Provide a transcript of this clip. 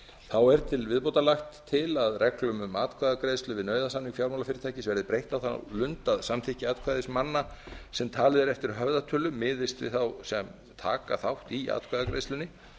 þá er til viðbótar lagt til að reglum um atkvæðagreiðslu við nauðasamning fjármálafyrirtækis verði breytt á þá lund að samþykki atkvæðismanna sem talið er eftir höfðatölu miðist við þá sem taka þátt í atkvæðagreiðslunni